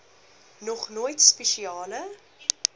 nog nooit spesiale